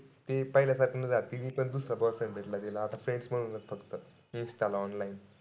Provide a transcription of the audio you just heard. ते पहिल्या सारखं तिनी पण दुसरा boyfriend भेटला तिला आता. Freinds म्हणून फक्त. Insta ला online.